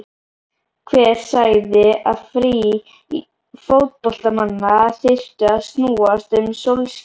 Hver sagði að frí fótboltamanna þyrftu að snúast um sólskin?